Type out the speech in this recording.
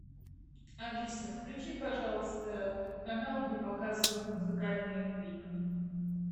алиса включи пожалуйста канал где показывают музыкальные клипы